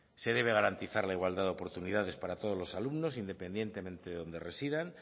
se debe garantizar la igualdad de oportunidades para todos los alumnos independientemente de donde residan